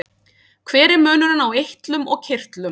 hver er munurinn á eitlum og kirtlum